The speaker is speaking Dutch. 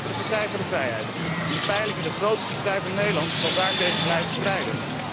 De Partij voor de vrijheid, in de peilingen de grootste partij van Nederland, zal daartegen blijven strijden.